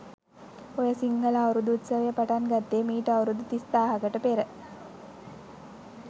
ඔය සිංහල අවුරුදු උත්සවය පටන් ගත්තෙ මීට අවුරුදු තිස් දාහකට පෙර.